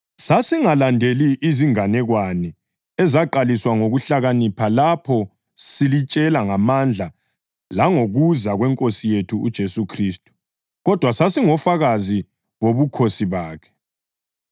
Sasingalandeli izinganekwane ezaqaliswa ngokuhlakanipha lapho silitshela ngamandla langokuza kweNkosi yethu uJesu Khristu kodwa sasingofakazi bobukhosi bakhe.